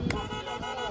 Bu eləməsənə.